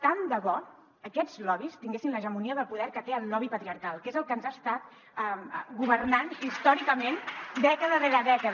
tant de bo aquests lobbys tinguessin l’hegemonia del poder que té el lobby patriarcal que és el que ens ha estat governant històricament dècada rere dècada